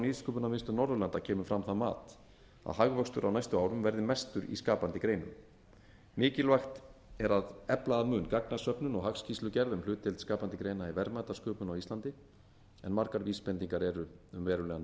nýsköpunarmiðstöð norðurlanda kemur fram það mat að hagvöxtur á næstu árum verði mestur í skapandi greinum mikilvægt er að efla að mun gagnasöfnun og hagskýrslugerð um hlutdeild skapandi greina í verðmætasköpun á íslandi en margar vísbendingar eru um verulegan